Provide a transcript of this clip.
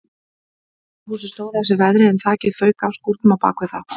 Rauða húsið stóð af sér veðrið en þakið fauk af skúrnum á bakvið það.